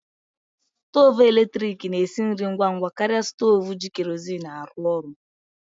Stovu eletrik na-esi nri ngwa ngwa karịa stovu ji kerozin arụ orụ.